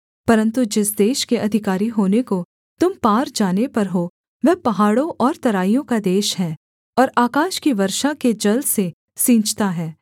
परन्तु जिस देश के अधिकारी होने को तुम पार जाने पर हो वह पहाड़ों और तराइयों का देश है और आकाश की वर्षा के जल से सींचता है